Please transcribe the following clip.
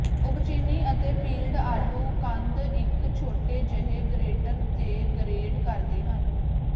ਉਬਚਿਨੀ ਅਤੇ ਪੀਲਡ ਆਲੂ ਕੰਦ ਇੱਕ ਛੋਟੇ ਜਿਹੇ ਗਰੇਟਰ ਤੇ ਗਰੇਟ ਕਰਦੇ ਹਨ